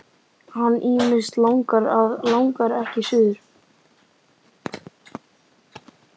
Hann ýmist langar eða langar ekki suður.